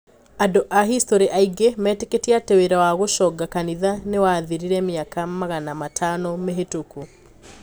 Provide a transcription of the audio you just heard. Andũ aa history aingi meitikitie ati wira wa gũconga kanitha niwathirire miaka 500 mihitũku.